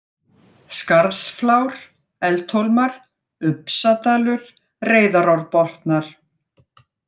Skarðsflár, Eldhólmar, Upsadalur, Reyðarárbotnar